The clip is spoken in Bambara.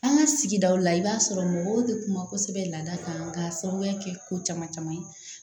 An ka sigidaw la i b'a sɔrɔ mɔgɔw bɛ kuma kosɛbɛ laada kan ka sababuya kɛ ko caman caman ye